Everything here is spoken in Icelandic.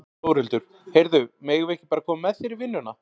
Þórhildur: Heyrðu, megum við ekki bara koma með þér í vinnuna?